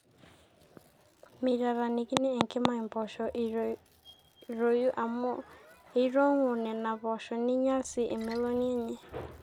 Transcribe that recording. meitataanikini enkima impoosho eitoitoi amu eitong'u nena poosho neinyal sii emeloni enye